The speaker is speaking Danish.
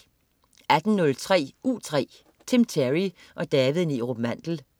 18.03 U3. Tim Terry og David Neerup Mandel